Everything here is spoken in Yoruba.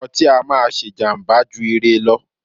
ọtí á máà ṣé jàmbá jù ire lọ.